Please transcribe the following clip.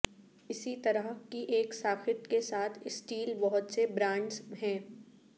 اسی طرح کی ایک ساخت کے ساتھ اسٹیل بہت سے برانڈز ہے